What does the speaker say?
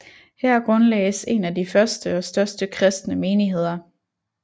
Her grundlagdes en af de første og største kristne menigheder